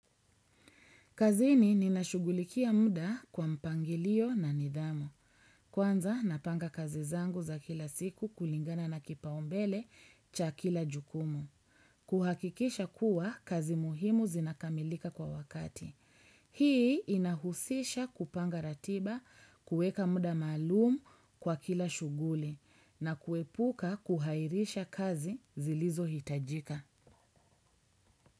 Kazini ninashugulikia muda kwa mpangilio na nidhamu. Kwanza napanga kazi zangu za kila siku kulingana na kipaumbele cha kila jukumu. Kuhakikisha kuwa kazi muhimu zinakamilika kwa wakati. Hii inahusisha kupanga ratiba, kuweka muda maalumu kwa kila shughuli na kuepuka kuhairisha kazi zilizohitajika.